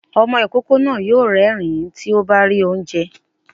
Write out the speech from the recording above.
Ọmọ ìkókó náà yóò rérìn-ín tí ó bá rí oúnjẹ